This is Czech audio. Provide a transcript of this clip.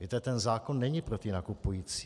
Víte, ten zákon není pro ty nakupující.